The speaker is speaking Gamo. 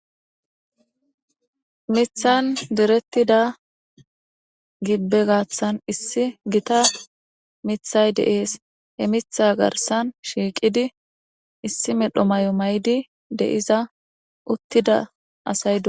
Mithan direttida gibbe gaaththan issi gita mithay de7ees. He mitha garsan shiiqidi issi medho mayo mayidi de7iza uttida asay do.